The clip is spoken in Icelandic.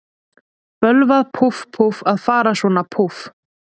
Bölvað, púff, púff, að fara svona, púff.